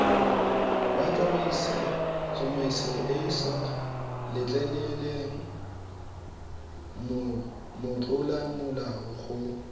wa tsamaisoeesa letleleleng motlolamolao go